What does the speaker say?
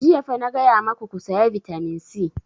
Jiya fa na gaya maku ku saya vitamin c!